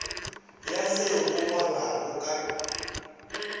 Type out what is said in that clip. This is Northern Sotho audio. ya seo go ngwalwago ka